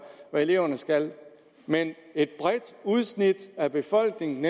eleverne skal men et bredt udsnit af befolkningen